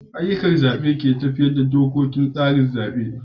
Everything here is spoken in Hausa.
Ayyukan zabe ne ke tafiyar da dokokin tsarin zabe.